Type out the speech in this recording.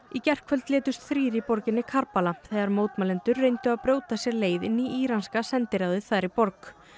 í gærkvöld létust þrír í borginni þegar mótmælendur reyndu að brjóta sér leið inn í íranska sendiráðið þar í borg